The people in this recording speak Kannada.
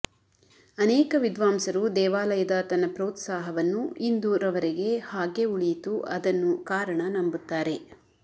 ಅನೇಕ ವಿದ್ವಾಂಸರು ದೇವಾಲಯದ ತನ್ನ ಪ್ರೋತ್ಸಾಹವನ್ನು ಇಂದು ರವರೆಗೆ ಹಾಗೇ ಉಳಿಯಿತು ಅದನ್ನು ಕಾರಣ ನಂಬುತ್ತಾರೆ